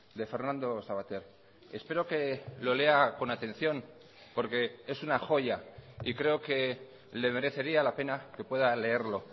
de fernando sabater espero que lo lea con atención porque es una joya y creo que le merecería la pena que pueda leerlo